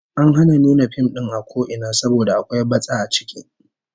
An hana nuna fim din a ko ina saboda akwai batsa a ciki